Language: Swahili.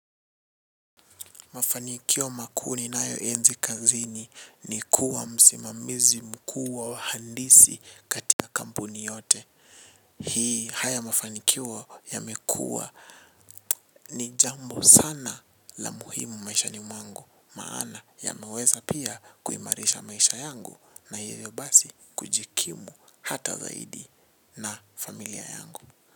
Mafanikio makuu ninayo enzi kazini ni kuwa msimamizi mkuu wa wahandisi katika kampuni yote. Haya mafanikio yamekuwa ni jambo sana la muhimu maishani mwangu maana yameweza pia kuimarisha maisha yangu na hivyo basi kujikimu hata zaidi na familia yangu.